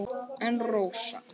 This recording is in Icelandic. En Rósa?